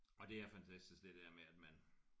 Og det er fantastisk det der med at man